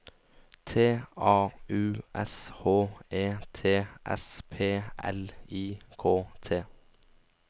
T A U S H E T S P L I K T